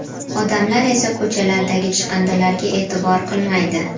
Odamlar esa ko‘chalardagi chiqindilarga e’tibor qilmaydi.